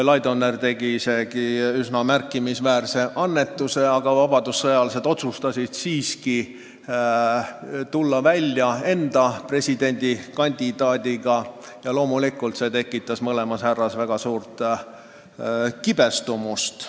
Laidoner tegi isegi üsna märkimisväärse annetuse, aga vabadussõjalased otsustasid siiski tulla välja oma presidendikandidaadiga ja loomulikult see tekitas mõlemas härras väga suurt kibestumust.